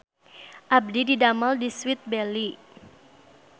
Abdi didamel di Sweet Belly